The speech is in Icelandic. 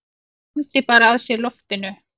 Andi bara að sér loftinu.